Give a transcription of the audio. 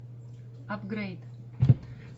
апгрейд